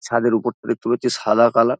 ছাদের উপর থেকে তুলেছি সাদা কালার ।